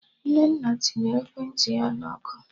Nnenna tinyere ekwentị ya na ọkụ